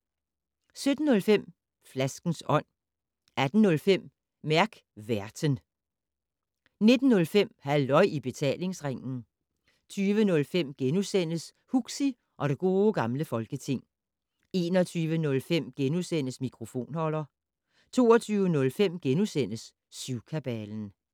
17:05: Flaskens Ånd 18:05: Mærk Værten 19:05: Halløj i Betalingsringen 20:05: Huxi og det Gode Gamle Folketing * 21:05: Mikrofonholder * 22:05: Syvkabalen *